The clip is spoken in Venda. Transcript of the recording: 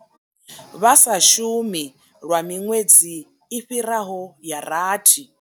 Vha sa shumi lwa miṅwedzi i fhiraho ya rathi.